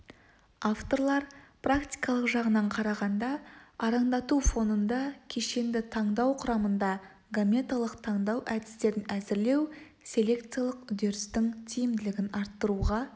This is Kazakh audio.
авторлар практикалық жағынан алғанда арандату фонында кешенді таңдау құрамында гаметалық таңдау әдістерін әзірлеу селекциялық үдерістің тиімділігін арттыруға